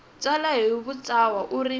tsala hi vuntshwa u ri